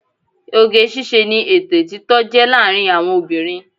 Oge ṣíṣe ni ètè títọ́ jẹ́ láàárín àwọn obìnrin